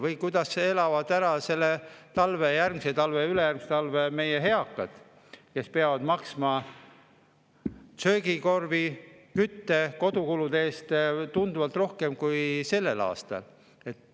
Ma ei tea, kuidas elavad ära sellel talvel, järgmisel talvel ja ülejärgmisel talvel meie eakad, kes peavad maksma söögikorvi, kütte- ja kodukulude eest tunduvalt rohkem kui varem.